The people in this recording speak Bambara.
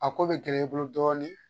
A ko be gɛlɛya i bolo dɔɔnin